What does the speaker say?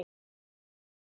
Þó að framtíð sé falin